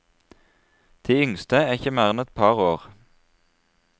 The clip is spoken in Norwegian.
De yngste er ikke mer enn et par år.